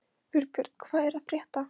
Vilbjörn, hvað er að frétta?